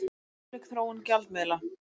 Ólík þróun gjaldmiðla